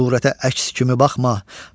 Hər surətə əks kimi baxma,